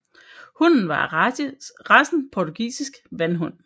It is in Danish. Hunden var af racen portugisisk vandhund